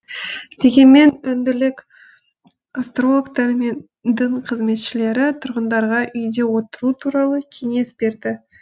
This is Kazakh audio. дегенмен үнділік астрологтар мен дін қызметшілері тұрғындарға үйде отыру туралы кеңес берді